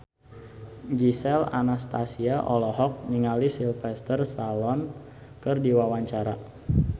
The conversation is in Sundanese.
Gisel Anastasia olohok ningali Sylvester Stallone keur diwawancara